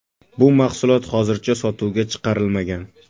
Bu mahsulot hozircha sotuvga chiqarilmagan.